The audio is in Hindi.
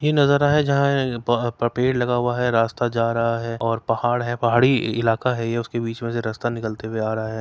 ये नजारा है जहाँ अ ये प प पेड़ लगा हुआ है रास्ता जा रहा है और पहाड़ है पहाड़ी इ इलाका है। ये उसके बीच में से रास्ता निकलते हुए आ रहा है।